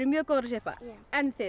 mjög góðar að sippa en þið